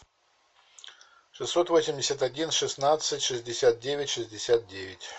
шестьсот восемьдесят один шестнадцать шестьдесят девять шестьдесят девять